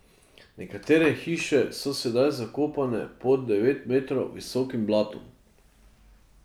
Nekatere hiše so sedaj zakopane pod devet metrov visokim blatom.